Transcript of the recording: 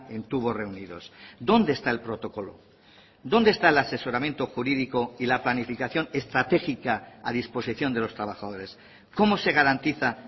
en tubos reunidos dónde está el protocolo dónde está el asesoramiento jurídico y la planificación estratégica a disposición de los trabajadores cómo se garantiza